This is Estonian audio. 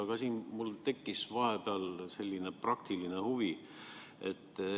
Aga mul tekkis vahepeal praktiline huvi.